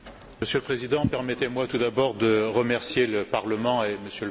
Monsieur le Président, permettez moi tout d'abord de remercier le Parlement et M.